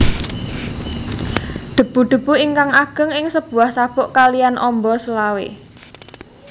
Debu debu ingkang ageng ing sebuah sabuk kaliyan ombo selawe